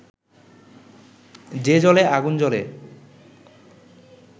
যে জলে আগুন জ্বলে